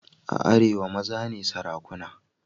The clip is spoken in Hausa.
A arewa maza ne sarakuna.